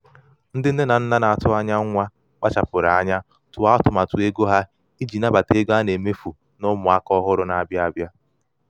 ndị nne na nna na-atụ anya anya nwa kpachapụrụ anya tụọ atụmatụ ego ha iji nabata ego a na-emefụ na ụmụ aka ọhụrụ na-abịa abịa.